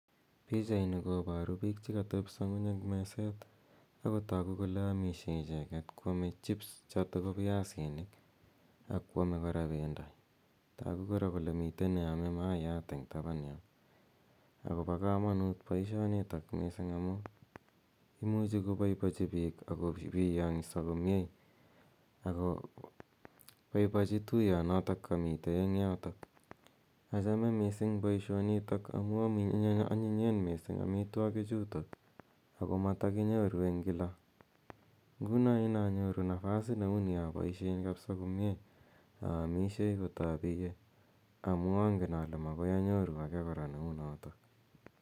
Pichaini kooaru piik che katepisa ng'uny eng' meset ako amishe icheget ko ame chips, chotok ko piasinik ako ame kora pendo. Tagu kora kole mitei ne ame maayat eng' tapan yo. Ako pa kamanut poishonitak missing' amu imuchi kopaipachi piik ak kopiyang'sa komye ako poipochi tuyonotok kamitei eng' yotok. Achame missing' poishonitak amu anyinyen missing' amitwogichutok amatakinyoru eng' kila. Nguno inanyoru napasit neu ni apaishe kapsa komye aamishei kot apiye amu angen ale makoi anyoru age kora ne u notok.